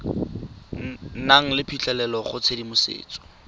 nang le phitlhelelo go tshedimosetso